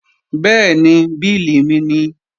Bẹ́ẹ̀ni, bílì mi nìí